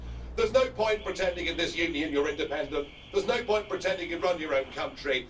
There's no point pretending in this union that you're independent, there's no point pretending you run your own country.